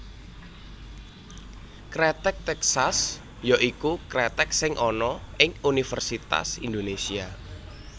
Kreteg Tèksas ya iku kreteg sing ana ing Universitas Indonesia